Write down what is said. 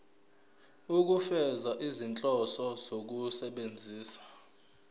ukufeza izinhloso zokusebenzisa